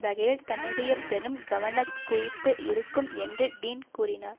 வகையில் தன்னுடைய பெரும் கவனக்குவிப்பு இருக்கும் என்று டீன் கூறினார்